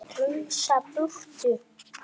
Strunsa burtu.